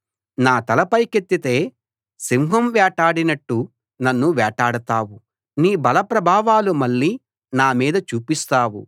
నా తల పైకెత్తితే సింహం వేటాడినట్టు నన్ను వేటాడతావు నీ బలప్రభావాలు మళ్లీ నా మీద చూపిస్తావు